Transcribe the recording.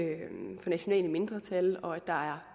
nationale mindretal og at der er